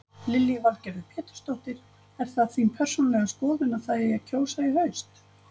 Lillý Valgerður Pétursdóttir: Er það þín persónulega skoðun að það eigi að kjósa í haust?